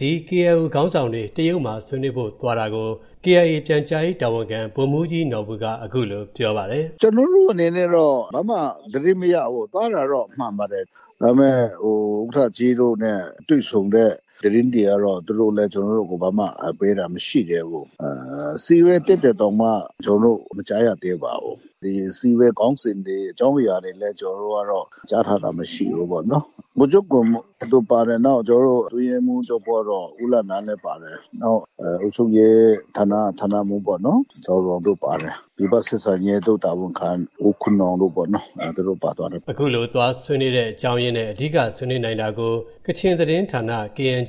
ဒီ KIO ခေါင်းဆောင်တွေ တရုတ်မှာ ဆွေးနွေးဖို့သွားတာကို KIA ပြန်ကြားရေးတာဝန်ခံ ဗိုလ်မှူးကြီး နော်ဘူက အခုလို ပြောပါတယ်။ "ကျွန်တော်တို့အနေနဲ့တော့ ဘာမှသတင်းမရဘူး သွားတာတော့မှန်ပါတယ် ဒါပေမယ့် ဥက္ကဋ္ဌကြီးတို့နဲ့တွေ့ဆုံတဲ့သတင်းတွေကတော့ သူတို့လည်း ကျွန်တော်တို့ကို ဘာမှပေးတာမရှိသေးဘူး။ အစည်းအဝေးတက်တာတောင်မှ ကျွန်တော်တို့မကြားရသေးပါဘူး။ အစည်းအဝေးခေါင်းစဉ်တွေနဲ့ အကြောင်းအရာတွေလည်း ကြားထားတာ မရှိသေးဘူးပေါ့နော်။ ဗိုလ်ချုပ်ဂွမ်မော်တို့ပါတယ်။ နောက်ကျွန်တော်တို့ အတွင်းရေးမှူးချုပ်ကတော့ ဦးလနန်း။ နောက်အုပ်ချုပ်ရေးဌာနက ဌာနမှူးပေါ့နော်။ ဒီဘက်ဆက်ဆံရေး ဒု-တာဝန်ခံ ဦးခွန်းနောင်တို့ပေါ့နော် သူတို့ပါသွားပါတယ်။" အခုလို သွားဆွေးနွေးတဲ့ အကြောင်းရင်းနဲ့ အဓိက ဆွေးနွေးနိုင်တာကို ကချင်သတင်းဌာန အယ်